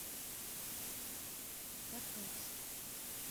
котовск